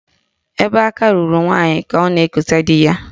Ebe aka ruru nwaanyị ka ọ na-ekosa di ya.